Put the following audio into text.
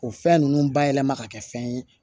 O fɛn ninnu bayɛlɛma ka kɛ fɛn ye